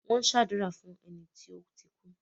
Wọ́n ṣàdúrà fún ẹni tó ti kú.